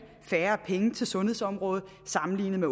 færre penge til sundhedsområdet sammenlignet med